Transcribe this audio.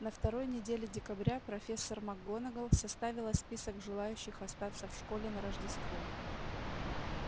на второй неделе декабря профессор макгонагалл составила список желающих остаться в школе на рождество